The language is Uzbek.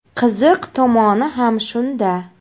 Qiziq tomoni ham shunda.